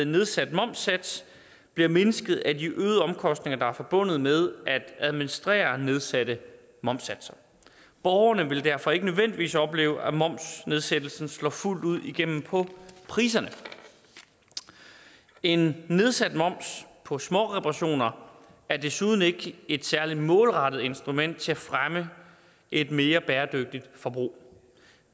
nedsat momssats bliver mindsket af de øgede omkostninger der er forbundet med at administrere nedsatte momssatser borgerne vil derfor ikke nødvendigvis opleve at momsnedsættelsen slår fuldt ud igennem på priserne en nedsat moms på småreparationer er desuden ikke et særlig målrettet instrument til at fremme et mere bæredygtigt forbrug